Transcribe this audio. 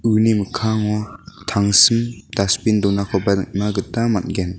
uni mikkango tangsim dasbin donakoba nikna gita man·gen.